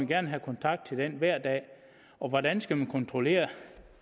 gerne have kontakt til den hver dag og hvordan skal man kontrollere